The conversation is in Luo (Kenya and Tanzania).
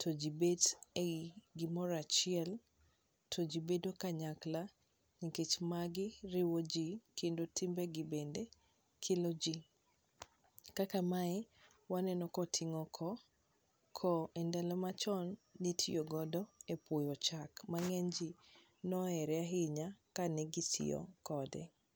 to ji bet e gimoro achiel, to ji bedo kanyakla nikech magi riwo ji kendo timbe gi be kelo ji. Kaka mae, waneno ka oting'o koo, koo e ndalo machon nitiyo godo e puoyo chak, ma ng'eny ji nohere ahinya ka ne gitiyo kode.